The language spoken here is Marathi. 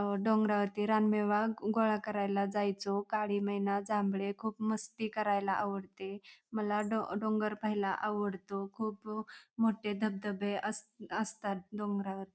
अ डोंगरवरती रानमेवा गोळा करायला जायचो काळी मैना जांभळे खूप मस्ती करायला आवडते मला डों डोंगर पाहायला आवडतो खूप मोठे धबधबे अस असतात डोंगरा वरती --